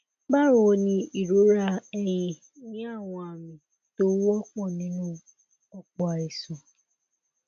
bawo ni ìrora ẹyìn ni àwọn àmì tó wọpọ nínú ọpọ àìsàn